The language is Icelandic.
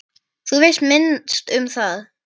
Þú veist minnst um það.